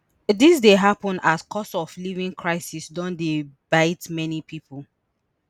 dis dey happun as cost of living crisis don dey bite many pipo